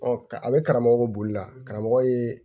Ɔ a bɛ karamɔgɔ bolila karamɔgɔ ye